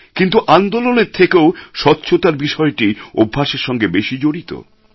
কিন্তু আন্দোলনের থেকেও স্বচ্ছতার বিষয়টি অভ্যাসের সঙ্গে বেশী জড়িত